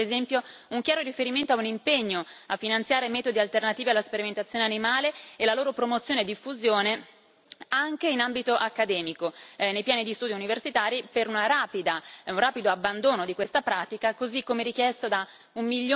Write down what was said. Manca, per esempio, un chiaro riferimento a un impegno a finanziare metodi alternativi alla sperimentazione animale e la loro promozione e diffusione anche in ambito accademico, nei piani di studio universitari, per un rapido abbandono di questa pratica, così come richiesto da un